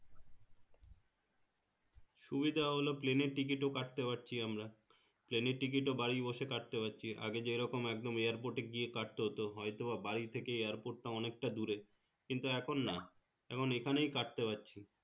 সুবিধা হলো plane এর ticket ও কাটতে পারছি আমরা plane এর ticket ও বাড়ি বসে কাটতে পারছি আগে যেরকম একদম airport এ গিয়ে কাটতে হতো হয়তো বা বাড়ি থেকে airport টা অনেকটা দূরে কিন্তু এখন না এখন এখানেই কাটতে পারছি